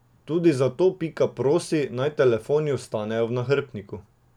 Tudi zato Pika prosi, naj telefoni ostanejo v nahrbtnikih.